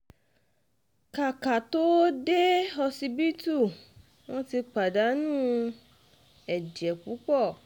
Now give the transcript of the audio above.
ká ká tóó dé um ọsibítù wọn ti pàdánù um ẹ̀jẹ̀ púpọ̀